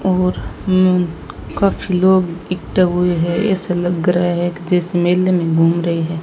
और हम काफी लोग इकट्ठा हुए हैं ऐसा लग रहा है कि जैसे मेले में घूम रहे हैं।